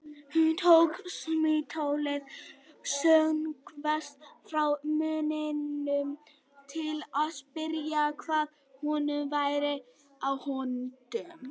Hún tók símtólið snöggvast frá munninum til að spyrja hvað honum væri á höndum.